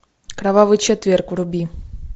кровавый четверг вруби